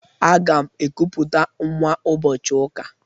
Aga m ekuputa nwa ụbọchị ụka.